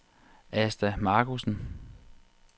Asta Markussen